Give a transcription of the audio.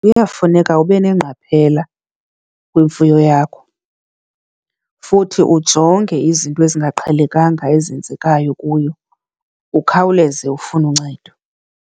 Kuyafuneka ube nengqaphela kwimfuyo yakho futhi ujonge izinto ezingaqhelekanga ezenzekayo kuyo, ukhawuleze ufune uncedo.